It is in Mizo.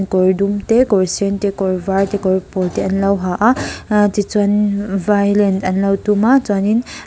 kawr dum te kawr sen te kawr var te kawr pawl te an lo ha a ahh ti chuan violin an lo tum a chuan in --